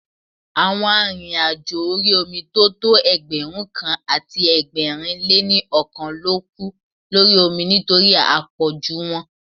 Àwọn arìnrìn-àjò orí omi tó tọ́ Ẹgbẹ̀rúnkan àti ẹgbẹ̀rin lé ní ọkàn ló kú lórí omi nítorí à pọ̀jù wọn.